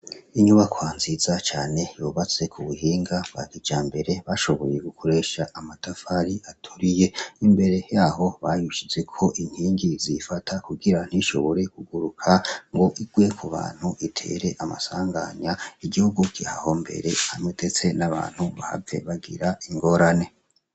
Inyubakwa nziza cane yubatse k'ubuhinga bwa kijambere bashoboye gukoresha amatafari aturiye, imbere yaho bayishizeko inkingi ziyifata kugira ntishobore kuguruka ngo igwe kubantu itere amasanganya, igihugu kihahombere hamwe ndetse n'abantu bahave bagira ingorane.